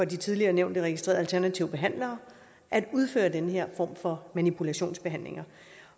de tidligere nævnte registrede alternative behandlere at udføre den her form for manipulationsbehandling